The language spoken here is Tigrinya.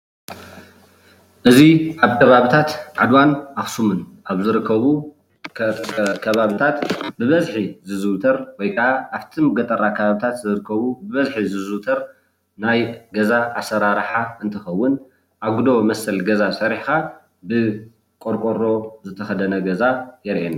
እዚ ኣብ ከባቢታት ዓድዋን ኣክስሙን ኣብ ዝረከቡ ከባቢታት ብበዝሒ ዘዝውተረ ወይ ከዓ ኣብቲ ገጠራት አከባቢታት ዝርከቡ ብበዝሒ ዝዝውተሩ ናይ ገዛ ኣሰራርሓ እንትከውን ኣጉዶ መስል ገዛ ሰሪሕካ ብቆርቆሮ ዝተከደነ ገዛ የርእየና፡፡